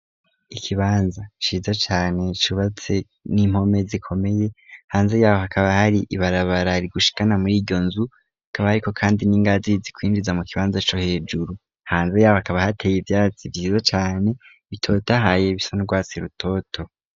Ikibanza shizo cyane chubatse n'impome zikomeye hanze yaho hakaba hari ibarabarari gushikana muri iyo nzu kaba ariko kandi n'ingazi zikwinjiza mu kibanza co hejuru hanze yaho hakaba hateye ibyatsi byizo cane bitoto ahaye bisandwasi rutoto.